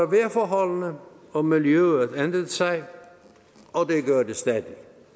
vejrforholdene og miljøet ændrede sig og det gør det stadig